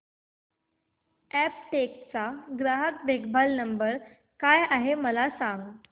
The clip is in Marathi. अॅपटेक चा ग्राहक देखभाल नंबर काय आहे मला सांग